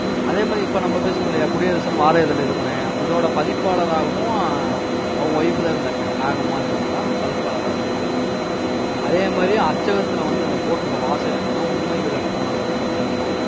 அதே மாதிரி, இப்ப நம்ம பேசினோம் இல்லையா? குடியரசுன்னு, வார இதழ்ல இதோட பதிப்பாளராவும் அவங்க wife தான் இருந்திருக்காங்க. நாகம்மாள் என்றவங்கதான் அந்த பதிப்பாளரா இருந்திருக்காங்க. அதே மாதிரி, அச்சகத்துல வந்து அந்த போட்டுருக்க வாசகம் என்னன்னா உண்மை விளக்கம் அஹ் அச்சகம்தான்.